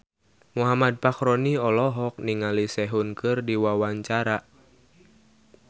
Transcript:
Muhammad Fachroni olohok ningali Sehun keur diwawancara